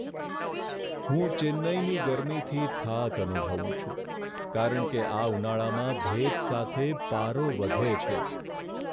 હું ચેન્નઈની ગરમીથી થાક અનુભવું છું કારણ કે આ ઉનાળામાં ભેજ સાથે પારો વધે છે.